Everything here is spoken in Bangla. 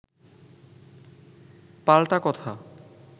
পাল্টা কথা